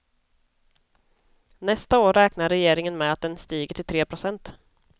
Nästa år räknar regeringen med att den stiger till tre procent.